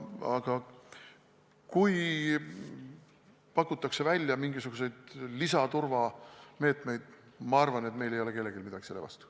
Aga kui pakutakse välja mingisuguseid lisaturvameetmeid, siis ma arvan, et meil ei ole kellelgi midagi selle vastu.